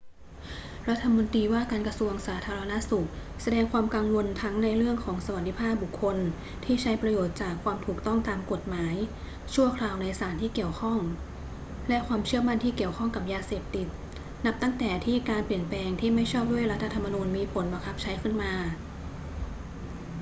รัฐมนตรีว่าการกระทรวงสาธารณสุขแสดงความกังวลทั้งในเรื่องสวัสดิภาพของบุคคลที่ใช้ประโยชน์จากความถูกต้องตามกฎหมายชั่วคราวในสารที่เกี่ยวข้อง และความเชื่อมั่นที่เกี่ยวข้องกับยาเสพติด นับตั้งแต่ที่การเปลี่ยนแปลงที่ไม่ชอบด้วยรัฐธรรมนูญมีผลบังคับใช้ขึ้นมา